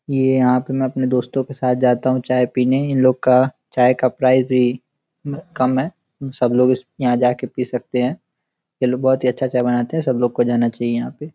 ये आप मै अपने दोस्तों के साथ जाता हूँ चाय पीने। इन लोग का चाय का प्राइस भी कम है। अ सब लोग यहाँ जा के पी सकते हैं। ये लोग बहोत ही अच्छा चाय बनाते हैं। सब लोगो को जाना चहिये यहाँ पे ।